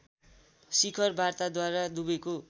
शिखर वार्ताद्वारा दुबैको